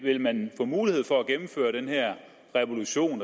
ville man få mulighed for at gennemføre den her revolution